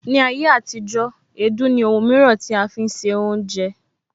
Ni ayé àtijó, èédú ní Òhùn mìíràn tí a fi ń se oúnjẹ